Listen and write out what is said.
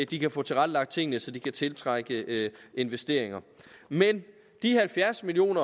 de kan få tilrettelagt tingene så de kan tiltrække investeringer men de halvfjerds million